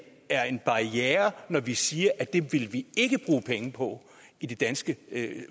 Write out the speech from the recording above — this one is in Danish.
er en barriere når vi siger at det vil vi ikke bruge penge på i det danske